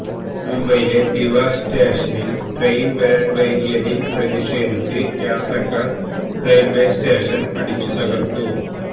മുംബൈയിലെ ദിവാ സ്റ്റേഷനില് ട്രയിന് വരാന് വൈകിയതില് പ്രതിഷേധിച്ച് യാത്രക്കാര് റെയില്വേ സ്റ്റേഷന് അടിച്ചുതകര്ത്തു